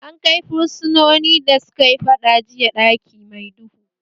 An kai fursunoni da sukayi faɗa jiya ɗaki mai duhu